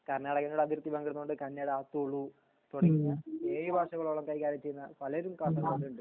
കർണാടകീന്നുള്ള അതിർത്തി പങ്കിടുന്നതോണ്ട് കന്നഡ തുളു തൊടങ്ങിയ ഏഴ് ഭാഷ കൾ കൈകാര്യം ചെയ്യുന്ന പലരും കാസർകോട് ണ്ട്